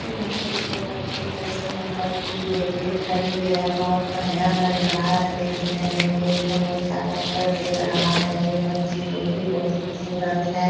यहाँ पे दो बच्ची ऐसे मोमबत्ती ले के खड़ी है बहुत बढ़िया लग रहा है देखने में ये एक दम उजाला कर दे रहा है। ये बच्ची लोग भी बहुत खूबसूरत है।